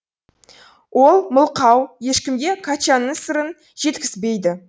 ол мылқау ешкімге качанның сырын жеткізбейді